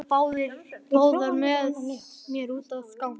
Komiði svo báðar með mér út að ganga.